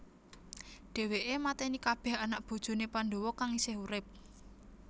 Dheweke mateni kabeh anak bojone Pandhawa kang isih urip